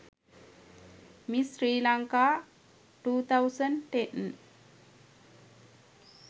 miss sri lanka 2010